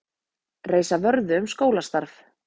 Reisa vörðu um skólastarf